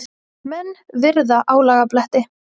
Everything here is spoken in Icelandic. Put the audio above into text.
Menn virða álagabletti.